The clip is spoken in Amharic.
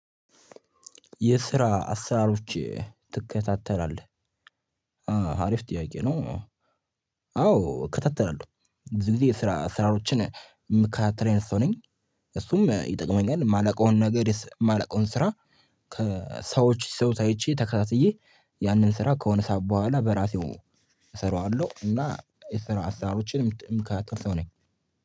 የስራ አሰራሮች ትከታተላለህ አሪፍ ጥያቄ ነው? አዎ እከታተላለሁ እዚህ ጊዜ ስራ አስራሮችን የምከታተለ አይነት ሰው ነኝ እሱም ይጠቅመኛል የማላውቀውን ነገር የማላውቀውን ስራ። ሰዎች ሲሰሩት አይቼ ተከታትዬ ያንን ስራ ከሆነ ሰዓት በኋላ በራሴው እሰራዋለሁ እና የሰራው አሳሮችንም የምከታተል ሰው ነኝ።